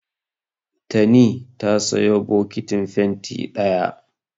Tani ta sayo bokitin fenti ɗaya.